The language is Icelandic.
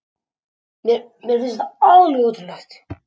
Mér finnst þetta alveg ótrúlegt